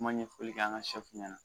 Kuma ɲɛfɔli kɛ an ka ɲɛna